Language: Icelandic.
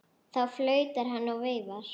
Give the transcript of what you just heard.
Þá flautar hann og veifar.